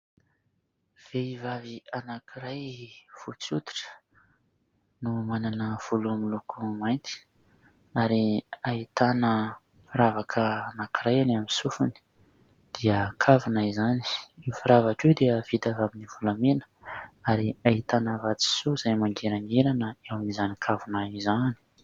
Vehivavy anankiray fotsy hoditra no manana volo miloko mainty ; ary ahitana firavaka anankiray eny amin'ny sofiny, dia kavina izany. Io firavaka io dia vita avy amin'ny volamena, ary ahitana vatosoa izay mangirangirana, eo amin'izany kavina izany.